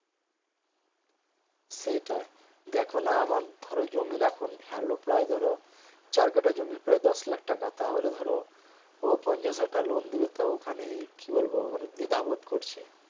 সেটাই দেখোনা আমার ধরো জমির এখন value প্রায় ধরো চার কাঠা জমির প্রায় দশ লাখ টাকা তাহলে ধরো ও পঞ্চাশ হাজার টাকা loan দিবে তো ওখানে কি বলবো মানে দিধা বোধ করছে